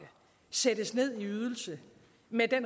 sættes ned i ydelse med